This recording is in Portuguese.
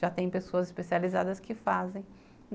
Já tem pessoas especializadas que fazem.